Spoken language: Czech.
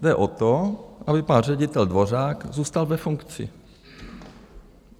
Jde o to, aby pan ředitel Dvořák zůstal ve funkci.